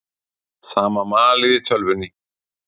Sama malið í tölvunni.